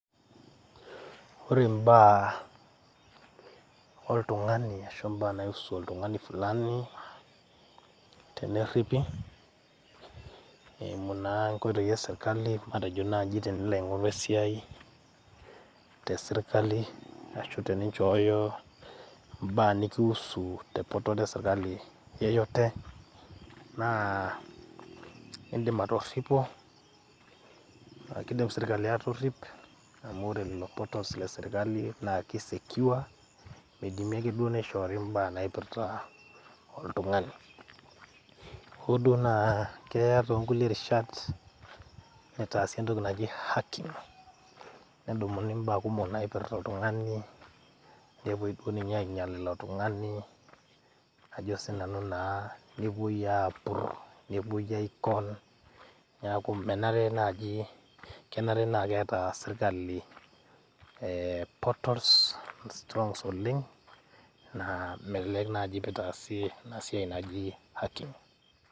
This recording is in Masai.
ore imbaa oltung'ani ashu imbaa naiusu oltung'ani fulani tenerripi eimu naa inkoitoi esirkali matejo naaji tenilo aing'oru esiai tesirkali ashu teninchooyo imbaa nikiusu te portal esirkali yeyote naa indim atorripo, kidim sirkali atorrip amu ore lelo portals le sirkali naa ki secure midimi ake duo nishoori imbaa naipirrta oltung'ani hoo duo naa keya tonkulie rishat nitaasi entoki naji hacking nedumuni imbaa kumok naipirrta oltung'ani nepuoi duo ninye ainyial ilo tung'ani ajo sinanu naa nepuoi apurr, nepuoin ae con niaku menare naaji, kenare naa keeta sirkali eh portals strong oleng naa melelek naaji pitaasi ina siai naji hacking.